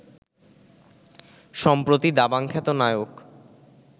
সম্প্রতি দাবাং খ্যাত নায়ক